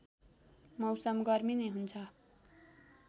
मौसम गर्मी नै हुन्छ